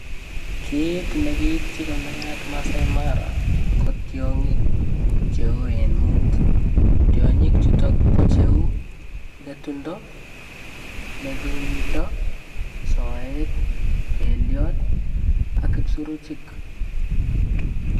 Kiit nekiityi konayat Maasai mara kotyong'ik cheu iin muut tiong'ik chuton kocheu ng'etundo, melildo, soet, beliot ak ibsuruchik.